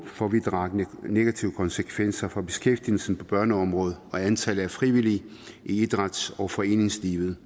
få vidtrækkende negative konsekvenser for beskæftigelsen på børneområdet og antallet af frivillige i idræts og foreningslivet